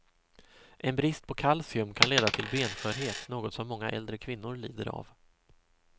En brist på kalcium kan leda till benskörhet, något som många äldre kvinnor lider av.